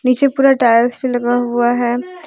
पीछे पूरा टाइल्स भी लगा हुआ है।